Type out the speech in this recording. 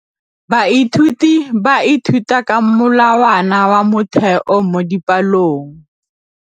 Baithuti ba ithuta ka molawana wa motheo mo dipalong.